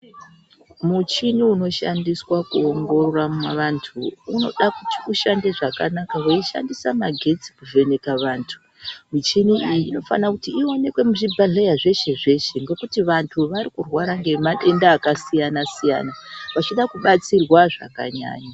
Muchini unoshandiswa kuongorora vantu unoda kuti ushande zvakanaka weishandisa magetsi kuvheneka vantu. Michini iyi inofana kuti ioneke muzvibhedhlera zveshe zveshe ngekuti vantu varikurwara ngemadenda akasiyana siyana vachida kubatsirwa zvakanyanya.